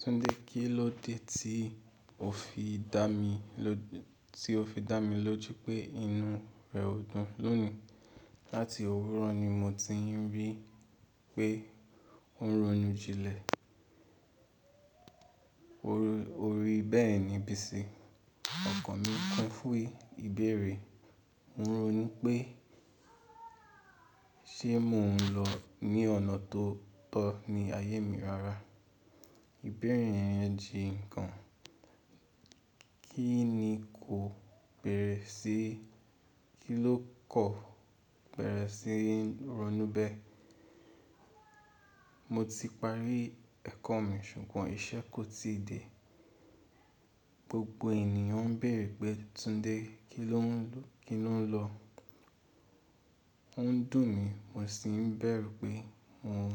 Tunde kí ló dé ti o fi tí o fi dá mi lójú pé inú rẹ ò dùn lónìí? Láti òwúrọ̀ ni mo ti n rí pé o ń ronú jílẹ̀. O rí bẹ́ẹ̀ ni Bisi, ọkọ mi pín fún ìbéèrè. Ò ń ronú pé ṣé mò ń lọ ní ọ̀nà tó tọ́ ní ayé mi rara. Ìbéèrè yẹn jìn kàn. Kí ni kò bẹ̀rẹ̀ sí, kí ló kọ̀ bẹ̀rẹ̀ sí ronú bẹ́ẹ̀? Mo ti parí ẹ̀kọ́ mi ṣùgbọ́n iṣẹ́ kò tíì dé. Gbogbo ènìyàn ń béèrè pé Tunde kí lọ n, ki lo n lo Ó ń dùn mí, mo sì ń bẹ̀rù pé mò ń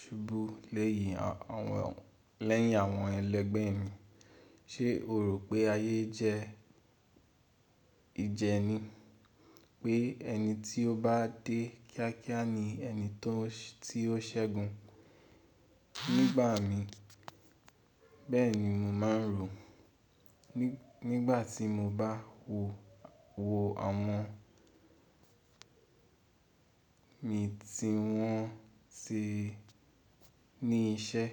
ṣubú leyin aw, awon lẹ́yìn àwọn ẹlẹgbẹ́ mi. Ṣé o rò pé ayé jẹ́ ìjẹni, pé ẹni tí ó bá dé kíákíá ni ẹni tó o se, ti o ṣẹ́gun? Nígbà mi, bẹ́ẹ̀ ni mo máa ń rò ó. Ni Nígbà tí mo bá wo wo àwọn mi tí wọ́n ti ní iṣẹ́,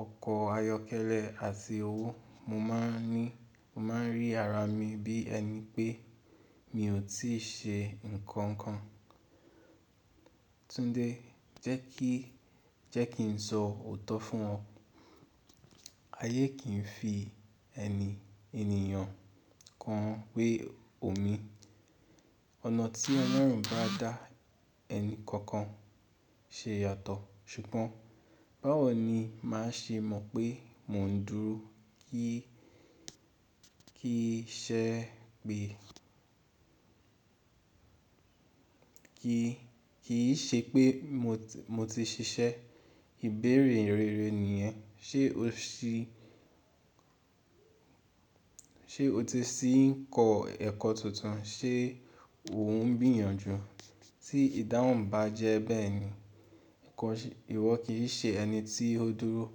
ọkọ̀ ayọ́kẹ́lẹ́ àti owó, mo máa n ni, mo maa n rí ara mi bí ẹni pé mi ò tí ì ṣe nǹkan kan. Tunde, jẹ́ kí, je ki n sọ òótọ́ fún ọ. Ayé kì í fi eni, ènìyàn kan pé oni. Ọ̀nà tí Ọlọ́run bá dá ẹni kankan ṣe yàtọ̀. Ṣùgbọ́n báwo ni màá ṣe mọ pé mò ń dúró ki kí i ṣe pé mo ti, mo ti ṣiṣẹ́? Ìbéèrè rere nìyẹn. Ṣé o ti sì ń kọ́ ẹ̀kọ́ tuntun? Ṣé o ń gbìyànjú? Tí ìdáhùn bá jẹ́ bẹ́ẹ̀ ni, ìwọ kì í ṣe ẹni tí ó dúró.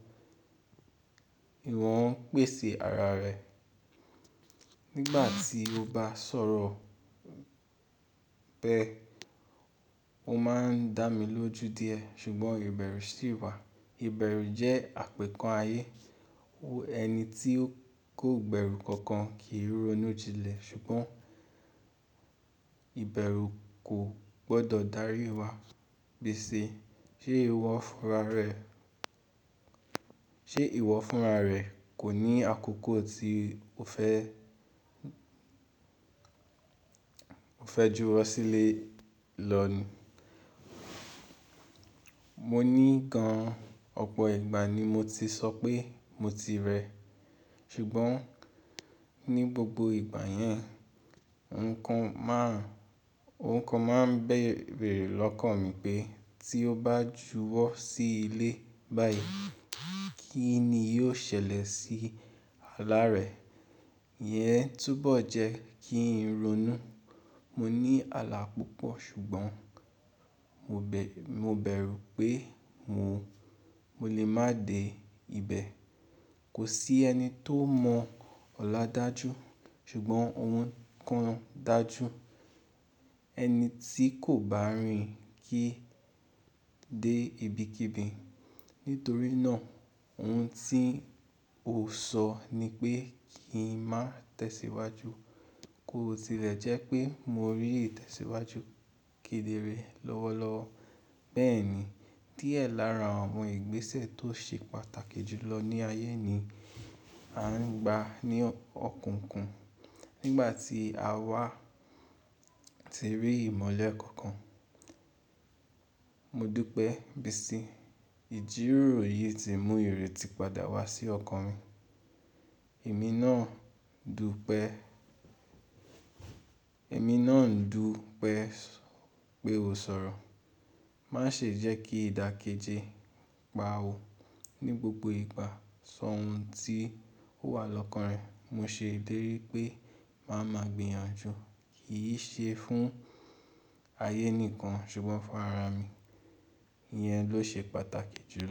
Ìwọ ń pèsè ara rẹ. Nígbà tí o bá sọ̀rọ̀ bẹ́ẹ̀, o máa ń dá mi lójú díẹ̀. Ṣùgbọ́n ìbẹ̀rù sì wà. Ìbẹ̀rù jẹ́ àpèkán ayé. Wo e Ẹni tí kò gbẹ̀rù kankan kì í ronú jílẹ̀. Ṣùgbọ́n ìbẹ̀rù kò gbọdọ̀ dárí wa. Pèsè. Ṣé ìwọ fúnra rẹ, se iwo funra re kò ní àkókò tí o fẹ́, o fe júwọ́ sílé lọ ni? Mo ní gan, ọ̀pọ̀ ìgbà ni mo ti sọ pé mo ti rẹ̀ ẹ. Ṣùgbọ́n ní gbogbo ìgbà yẹn, ohun kan máa ń bèèrè, beere lọ́kàn mi pé tí ó bá juwọ́ sí ilé báyìí, kí ni yóò ṣẹlẹ̀ sí ala rẹ̀. Iyẹn túbọ̀ jẹ́ kí n ronú. Mo ní ala púpọ̀ ṣùgbọ́n mo be, mo bẹ̀rù pé mò, mo lè má dẹ ibẹ̀. Kò sí ẹni tó mọ ọ̀la dájú. Ṣùgbọ́n ohun kan dájú, ẹni tí kò bá rìn kí í dé ibikíbi. Itorí náà, ohun tí ó sọ ni pé kí n má tẹ̀síwájú. Kò tilẹ̀ jẹ́ pé mo rí ìtẹ̀síwájú kedere lọ́wọ́lọ́wọ́. Bẹ́ẹ̀ ni, díẹ̀ lára àwọn ìgbésẹ̀ tó ṣe pàtàkì jù lọ ní ayé ni à ń gba ní o, ọ̀kùnkùn. N gbà tí àwa ti rí ìmọ̀le kankan, mo dú pé Bisi, ìjíròrò yìí ti mú ìrètí padà wá sí ọkàn mi. Èmi náà ń dùpé, pe o sọ̀rọ̀. Má ṣe jẹ́ kí ìdàkejì pa ọ. Ni gbogbo ìgbà, sọ ohun tí ó wà lọ́kàn rẹ. Mo ṣe ìlérí pé màá ma gbìyànjú. Kì í ṣe fún ayé nìkan ṣùgbọ́n fún ara mi. Iyẹn ló ṣe pàtàkì jù lọ.